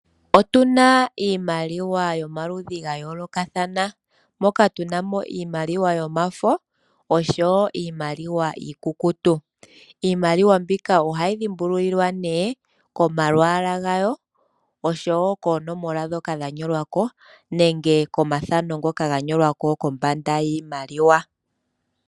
Otuna iimaliwa yomaludhi gayoolokathana moka ntunamo iimaliwa yomafo niimaliwa iikukutu. Iimaliwa mbika ohayi dhipululiwa nee komalwaala gawo osho woo koonoma dhoka dhanyolwako nenge komathano ngoka ganyolwako kombanda yiimaliwa.